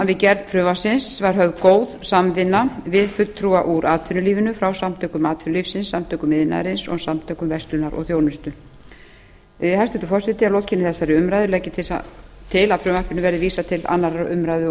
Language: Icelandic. að við gerð frumvarpsins var höfð góð samvinna við fulltrúa úr atvinnulífinu frasamtökum atvinnulífsins frá samtökum iðnaðarins og samtökum verslunar og þjónustu hæstvirtur forseti að lokinni þessari umræðu legg ég til að fruvmarpinuv bæði vísað til annarrar umræðu og